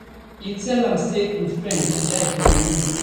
e tell am say im friend bin die for di room